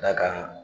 D'a kan